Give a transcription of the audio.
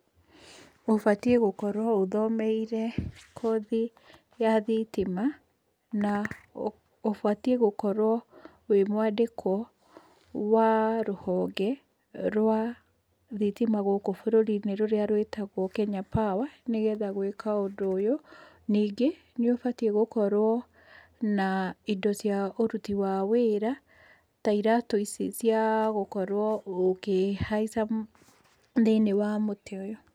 Ũbatiĩ gũkorwo ũthomeire, kothi, ya thitima, na ũbatiĩ gũkorwo, wĩ mwandĩkwo, wa rũhonge, rwa, thitima gũkũ bũrũri-inĩ, rũrĩa rwĩtagwo Kenya Power nĩgetha gwĩka ũndũ ũyũ, ningĩ, nĩ ũbatiĩ gũkorwo, na indo cia ũruti wa wĩra, ta iratũ ici cia, gũkorwo ũkĩhaica, thĩiniĩ wa mũtĩ ũyũ.